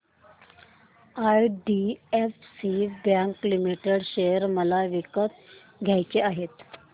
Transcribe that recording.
IDFC bank limited share मला विकत घ्यायचे आहेत